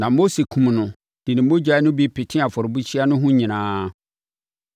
na Mose kumm no de ne mogya no bi petee afɔrebukyia no ho nyinaa.